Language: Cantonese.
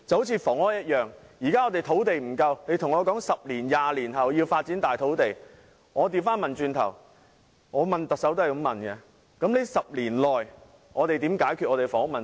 正如房屋一樣，現時香港的土地不足，如告訴我10年、20年後要發展土地，我便會倒過來問特首，那麼在這10年內我們如何解決香港的房屋問題？